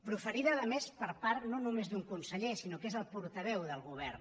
proferida a més per part no només d’un conseller sinó que és el portaveu del govern